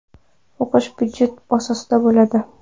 O‘qish budjet asosida bo‘ladi.